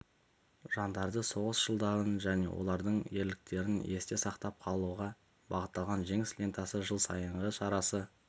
жандарды соғыс жылдарын және олардың ерліктерін есте сақтап қалуға бағытталған жеңіс лентасы жыл сайынғы шарасы